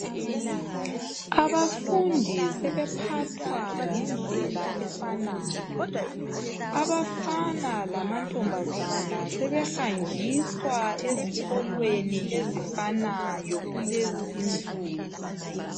Abafundi sebephathwa ngendlela efanayo. Abafana lamantombazane sebehanjiswa ezikolweni ezifanayo kulezi insuku.